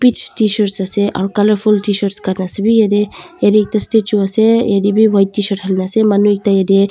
tshirt ase aru colourful tshirt khan ase bhi jatte jatte ekta statue ase jatte bhi white tshirt khan ase manu ekta yatte--